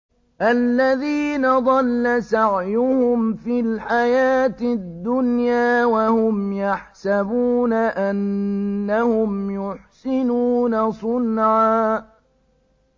الَّذِينَ ضَلَّ سَعْيُهُمْ فِي الْحَيَاةِ الدُّنْيَا وَهُمْ يَحْسَبُونَ أَنَّهُمْ يُحْسِنُونَ صُنْعًا